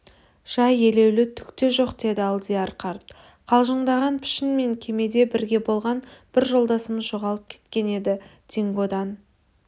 жай елеулі түк те жоқ деді алдияр қарт қалжыңдаған пішін мен кемеде бірге болған бір жолдасымыз жоғалып кеткен еді дингодан